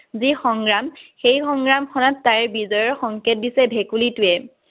যি সংগ্ৰাম, সেই সংগ্ৰামখনত তাইৰ বিজয়ৰ সংকেত দিছে ভেকুলীটোৱে।